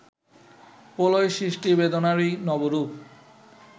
প্রলয় সৃষ্টি বেদনারই নবরূপ